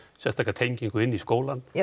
sérstaka tengingu inn í skólann